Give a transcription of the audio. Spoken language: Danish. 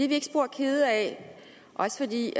vi ikke spor kede af også fordi